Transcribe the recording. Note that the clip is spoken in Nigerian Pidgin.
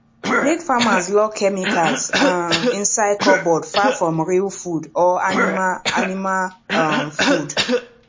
make farmers lock chemicals um inside cupboard far from real food or animal animal um food